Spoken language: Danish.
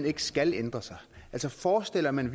ikke skal ændre sig altså forestiller man